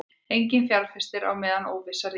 Enginn fjárfestir á meðan óvissa ríkir